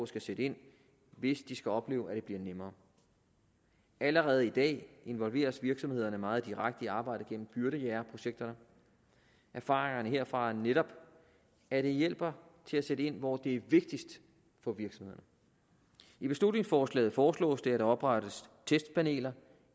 skal sætte ind hvis de skal opleve at det bliver nemmere allerede i dag involveres virksomhederne meget direkte i arbejdet gennem byrdejægerprojekterne erfaringerne herfra er netop at det hjælper til at sætte ind hvor det er vigtigst for virksomhederne i beslutningsforslaget foreslås det at der oprettes testpaneler